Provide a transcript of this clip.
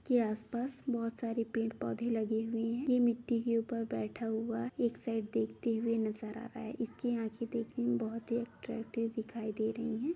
के आसपास बहुत सारे पेड़-पौधे लगे हुए है ये मिट्टी के ऊपर बैठा हुआ है एक साइड देखते हुए नज़र आ रहा है इसकी आँखे देखने में बहुत ही अट्रैक्टिव दिखाई दे रही है।